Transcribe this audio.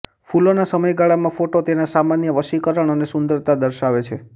ફૂલોના સમયગાળામાં ફોટો તેના સામાન્ય વશીકરણ અને સુંદરતા દર્શાવે છે